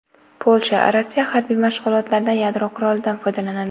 Polsha: Rossiya harbiy mashg‘ulotlarda yadro qurolidan foydalanadi.